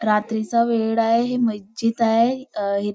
रात्रीचा वेळ आहे हे मज्जिद आहे अं हि--